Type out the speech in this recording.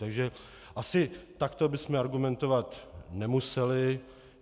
Takže asi takto bychom argumentovat nemuseli.